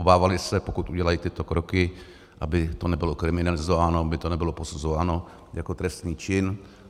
Obávali se, pokud udělají tyto kroky, aby to nebylo kriminalizováno, aby to nebylo posuzováno jako trestný čin.